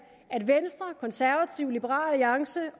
at venstre konservative og liberal alliance